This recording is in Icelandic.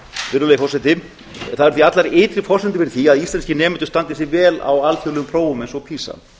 virðulegi forseti það eru því allar ytri forsendur fyrir því að íslenskir nemendur standi sig vel á alþjóðlegum prófum eins og pisa